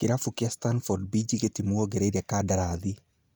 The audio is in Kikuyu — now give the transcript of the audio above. Kĩrabu kĩa Stanford Beige gĩtimuongereire kandarathi.